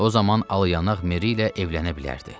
O zaman al yanaq Meri ilə evlənə bilərdi.